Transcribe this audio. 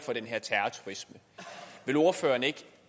den her terrorturisme vil ordføreren ikke